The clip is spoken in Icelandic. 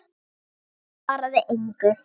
Emil svaraði engu.